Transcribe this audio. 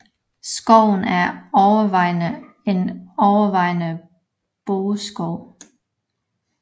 Skoven er overvejende en overvejende bøgeskov